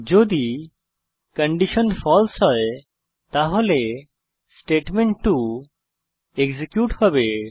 যদি কন্ডিশন ফালসে হয় তাহলে স্টেটমেন্ট2 এক্সিকিউট হবে